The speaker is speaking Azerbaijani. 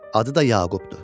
Adı da Yaqubdu.